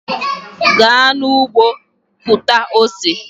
Gaa n'ụgbọ kụta ose!